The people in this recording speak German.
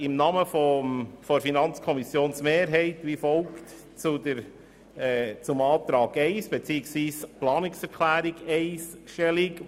Im Namen der Mehrheit der FiKo nehme ich wie folgt zum Antrag 1 beziehungsweise zur Planungserklärung 1 Stellung: